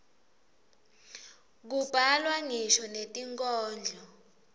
kubhalwa ngisho netinkhondlo